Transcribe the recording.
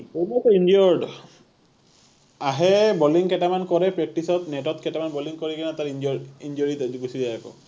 injured, আহে bowling কেইটামান কৰে practice ত net ত কেইটামান bowling কৰি কিনি তাৰ injured, injury ত গুচি যায় আকৌ